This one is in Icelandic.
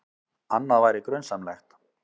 Annað væri grunsamlegt.